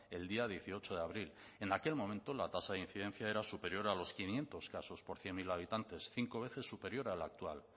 el día dieciocho de abril en aquel momento la tasa de incidencia era superior a los quinientos casos por cien mil habitantes cinco veces superior a la actual